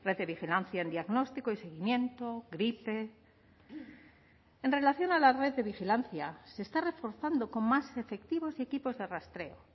de vigilancia en diagnóstico y seguimiento gripe en relación a la red de vigilancia se está reforzando con más efectivos y equipos de rastreo